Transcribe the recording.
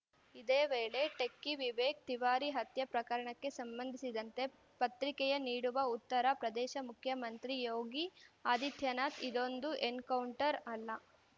ಇದೇ ವೇಳೆ ಟೆಕ್ಕಿ ವಿವೇಕ್‌ ತಿವಾರಿ ಹತ್ಯೆ ಪ್ರಕರಣಕ್ಕೆ ಸಂಬಂಧಿಸಿದಂತೆ ಪ್ರತಿಕೆಯ ನೀಡಿರುವ ಉತ್ತರ ಪ್ರದೇಶ ಮುಖ್ಯಮಂತ್ರಿ ಯೋಗಿ ಆದಿತ್ಯನಾಥ್‌ ಇದೊಂದು ಎನ್‌ಕೌಂಟರ್‌ ಅಲ್ಲ